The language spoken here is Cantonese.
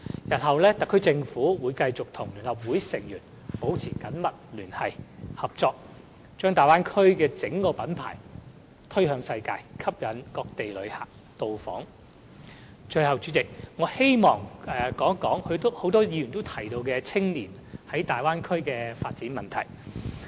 日後，特區政府會繼續與聯合會成員保持緊密聯繫和合作，將大灣區的整體品牌推向世界，以吸引各地旅客到訪。最後，主席，我希望談到許多議員都關注有關青年人在大灣區的發展問題。